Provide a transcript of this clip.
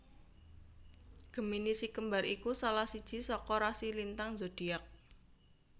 Gemini si kembar iku salah siji saka rasi lintang zodiak